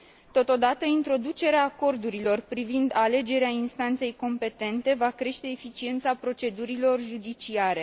Totodată, introducerea acordurilor privind alegerea instanței competente va crește eficiența procedurilor judiciare.